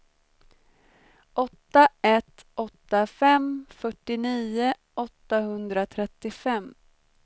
åtta ett åtta fem fyrtionio åttahundratrettiofem